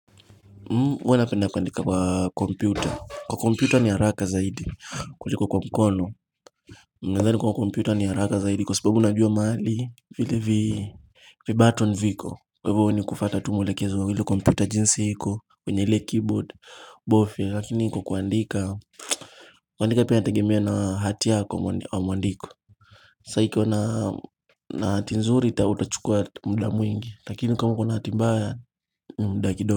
Mm hua napenda kuandika kwa komputa, kwa komputa ni haraka zaidi kuliko kwa mkono. Hhh Ninathani kua komputa ni haraka zaidi kwa sababu najua mahali vile vi vibaton viko kwa hivyo wewe ni kufata tu mwelekezo wa ile komputa jinsi iko kwenye ile keyboard bofia lakini hiko kuandika mhch kuandika pia inategemea na hati yako mwa wa mwandiko.hhh shh sa ikiwa na na hati nzuri ita utachukua mda mwingi lakini kama uko hati mbaya mda kidog.